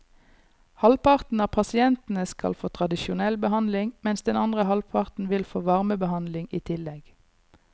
Halvparten av pasientene skal få tradisjonell behandling, mens den andre halvparten vil få varmebehandling i tillegg.